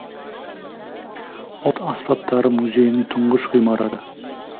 ұлт аспаптары музейінің тұңғыш ғимараты